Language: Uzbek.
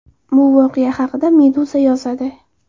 Bu voqea haqida Meduza yozadi .